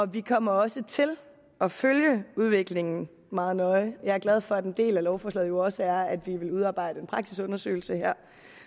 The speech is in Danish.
vi kommer også til at følge udviklingen meget nøje jeg er glad for at en del af lovforslaget jo også er at vi vil udarbejde en praksisundersøgelse her